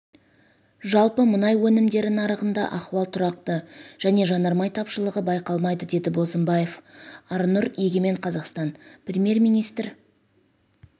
жалпы мұнай өнімдері нарығында ахуал тұрақты және жанармай тапшылығы байқалмайды деді бозымбаев арнұр егемен қазақстан премьер-министрі